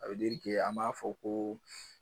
an m'a fɔ ko